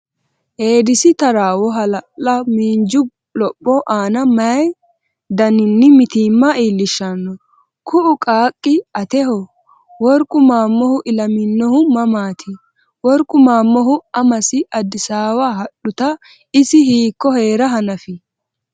Eedisi taraawo hala’la miinju lopho aana mayi daninni mitiimma iillishshanno? Kuu”u qaaqqi ateho? Worqu Maammohu ilaminohu mamaati? Worqu Maammohu amasi Addisaawa hadhuta isi hiikko hee’ra hanafi?